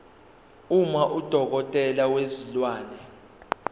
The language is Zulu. uma udokotela wezilwane